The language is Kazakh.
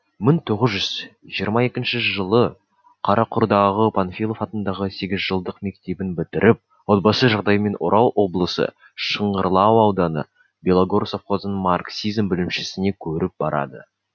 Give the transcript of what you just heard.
мың тоғыз жүз жиырма екінші жылы қарақұрдағы панфилов атындағы сегізжылдық мектебін бітіріп отбасы жағдайымен орал облысы шыңғырлау ауданы белогор совхозының марксизм бөлімшесіне көріп барады